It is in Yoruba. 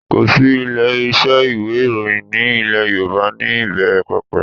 Kò sí ilé-iṣẹ́ ìwé ìròyìn ní ilẹ̀ Yorùbá ní ìbẹ̀ẹ̀rẹ̀pẹ̀pẹ̀